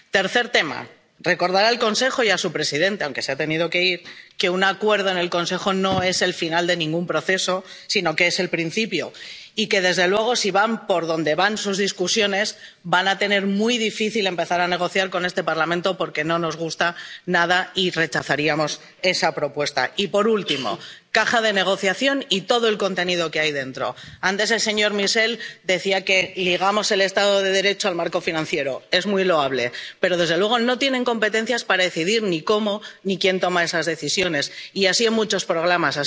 Tercero recordar al Consejo y a su presidente —aunque se ha tenido que ir— que un acuerdo en el Consejo no es el final de ningún proceso, sino que es el principio. Y que, desde luego, si van por donde van sus discusiones, van a tener muy difícil empezar a negociar con este Parlamento porque no nos gusta nada esa propuesta y la rechazaríamos. Y, por último caja de negociación y todo el contenido que hay dentro. Antes, el señor Michel decía que ligamos el Estado de Derecho al marco financiero —es muy loable—, pero desde luego no tienen competencias para decidir ni cómo ni quién toma esas decisiones, y así en muchos